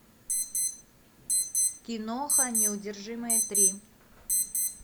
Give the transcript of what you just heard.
киноха неудержимые три